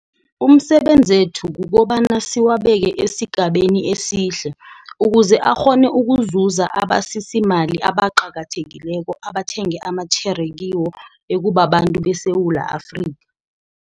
Umsebe nzethu kukobana siwabeke esigabeni esihle, ukuze akghone ukuzuza abasisimali abaqakathekileko abathenge amatjhere kiwo, ekubabantu beSewula Afrika.